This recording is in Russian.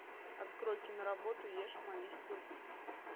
открой киноработу ешь молись люби